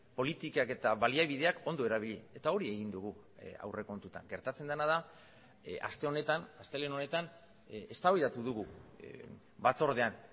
politikak eta baliabideak ondo erabili eta hori egin dugu aurrekontutan gertatzen dena da aste honetan astelehen honetan eztabaidatu dugu batzordean